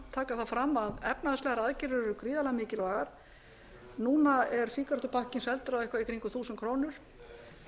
taka það fram að efnahagslegar aðgerðir eru gríðarlega mikilvægar núna er sígarettupakkinn seldur á eitthvað í kringum þúsund krónur